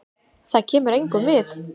Það kemur engum við.